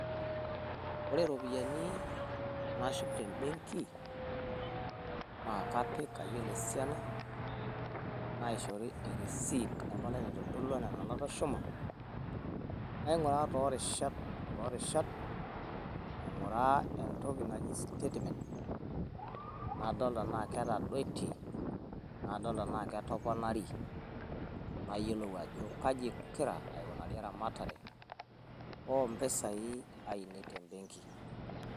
Ore irropiyiani nashum te benki naa kapik ayiolo esiana. Naishori e receipt ayiolo esiana e nena natushuma. Naing'uraa too rishat o too rishat, aing'uraa entoki naji statement nadol tenaa ketadoitie nadol tenaa ketoponari nayiolou ajo kaji egira aikunari eramatare oo mpisai ainei te benki.